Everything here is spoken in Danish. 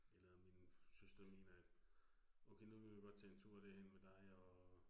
Eller min søster mener, at okay nu vil vi godt tage en tur derhen med dig og